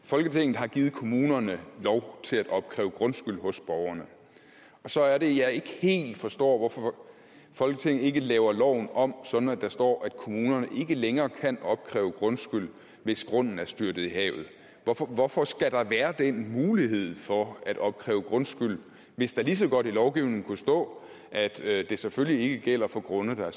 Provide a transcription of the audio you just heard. folketinget har givet kommunerne lov til at opkræve grundskyld hos borgerne og så er det jeg ikke helt forstår hvorfor folketinget ikke laver loven om sådan at der står at kommunerne ikke længere kan opkræve grundskyld hvis grunden er styrtet i havet hvorfor skal der være den mulighed for at opkræve grundskyld hvis der lige så godt i lovgivningen kunne stå at det det selvfølgelig ikke gælder for grunde der